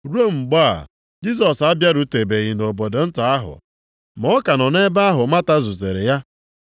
Ruo mgbe a, Jisọs abịarutebeghị nʼobodo nta ahụ, ma ọ ka nọ nʼebe ahụ Mata zutere ya.